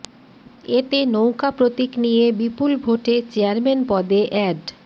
এতে নৌকা প্রতীক নিয়ে বিপুল ভোটে চেয়ারম্যান পদে অ্যাড